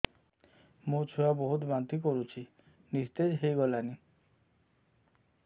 ମୋ ଛୁଆ ବହୁତ୍ ବାନ୍ତି କରୁଛି ନିସ୍ତେଜ ହେଇ ଗଲାନି